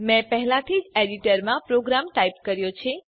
મેં પહેલાથી જ એડીટરમાં પ્રોગ્રામ ટાઈપ કર્યો છે